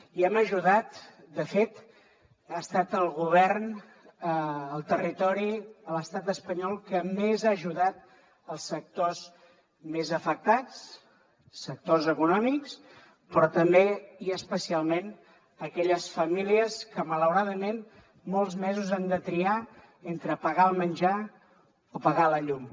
i hem ajudat de fet ha estat el govern el territori a l’estat espanyol que més ha ajudat els sectors més afectats sectors econòmics però també i especialment aquelles famílies que malauradament molts mesos han de triar entre pagar el menjar o pagar la llum